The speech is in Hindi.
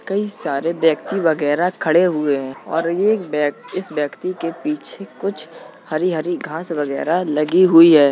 कई सारे व्यक्ति वगेरह खड़े हुए हैं और एक व्यय इस व्यक्ति के पीछे कुछ हरी हरी घास वगेरह लगी हुई है।